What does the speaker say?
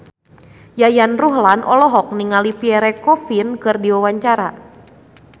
Yayan Ruhlan olohok ningali Pierre Coffin keur diwawancara